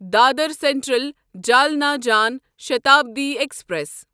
Dadar central Jalna Jan Shatabdi express